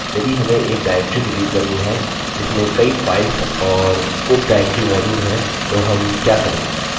यदि हमें एक directory डिलीट करनी है जिसमें कई files और उप directory मौजूद है तो हम क्या करें